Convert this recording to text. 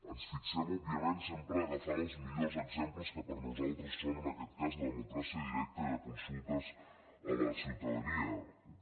ens fixem òbviament sempre agafant els millors exemples que per a nosaltres són en aquest cas la democràcia directa i de consultes a la ciutadania